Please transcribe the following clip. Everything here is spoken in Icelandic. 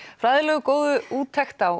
fræðilegu og góðu úttekt á